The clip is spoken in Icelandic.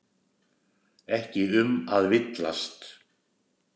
Ekki um að villast!